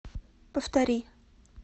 повтори